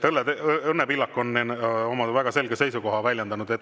Õnne Pillak on oma väga selge seisukoha väljendanud.